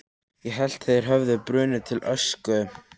Ég hélt þeir hefðu brunnið til ösku.